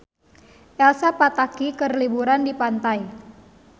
Elsa Pataky keur liburan di pantai